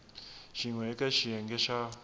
xin we eka xiyenge xa